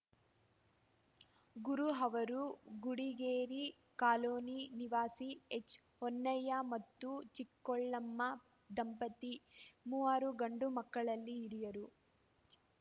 ಗುರು ಅವರು ಗುಡಿಗೆರೆ ಕಾಲೋನಿ ನಿವಾಸಿ ಎಚ್‌ಹೊನ್ನಯ್ಯ ಮತ್ತು ಚಿಕ್ಕೋಳಮ್ಮ ದಂಪತಿ ಮೂವರು ಗಂಡು ಮಕ್ಕಳಲ್ಲಿ ಹಿರಿಯರು